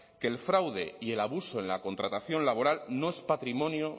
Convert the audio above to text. que el fraude y el abuso en la contratación laboral no es patrimonio